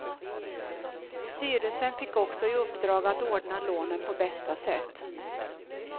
Styrelsen fick också i uppdrag att ordna lånen på bästa sätt.